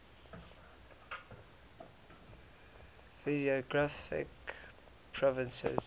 physiographic provinces